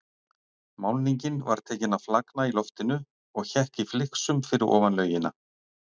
Málningin var tekin að flagna í loftinu og hékk í flygsum fyrir ofan laugina.